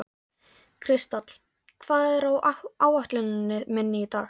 Kristall, hvað er á áætluninni minni í dag?